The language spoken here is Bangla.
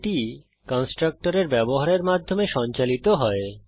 এটি কন্সট্রকটরের ব্যবহারের মাধ্যমে সঞ্চালিত হয়